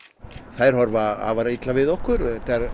þær horfa afar illa við okkur